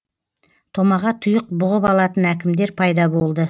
томаға тұйық бұғып алатын әкімдер пайда болды